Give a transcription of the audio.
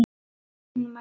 Hún mælti